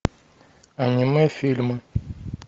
аниме фильмы